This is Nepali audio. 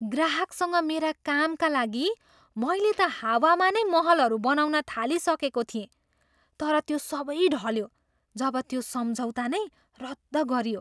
ग्राहकसँग मेरो कामका लागि मैले त हावामा नै महलहरू बनाउन थालिसकेको थिएँ तर त्यो सबै ढल्यो जब त्यो सम्झौता नै रद्द गरियो।